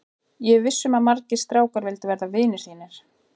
Ég er viss um að margir strákar vildu verða vinir þínir.